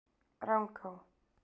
Rangá